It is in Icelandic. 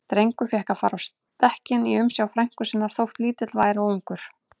Drengur fékk að fara á stekkinn í umsjá frænku sinnar, þótt lítill væri og ungur.